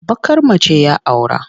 Baƙar mace ya aura.